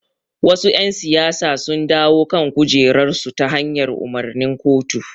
Wasu ƴan siyasa sun dawo kan kujerarsu ta hanyar umarnin kotu.